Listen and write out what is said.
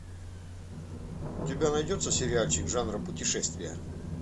у тебя найдется сериальчик жанра путешествия